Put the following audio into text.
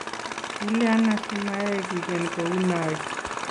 kilyan asimayai kigen kou noe?